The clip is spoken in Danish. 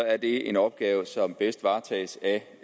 er det en opgave som bedst varetages af